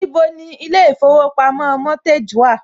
Níbo ni ilé ìfowópamọ́ Mortgage wà?